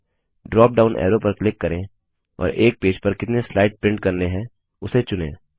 drop down arrow पर click करें और एक पेज पर कितने स्लाइड प्रिंट करने हैं उसे चुनें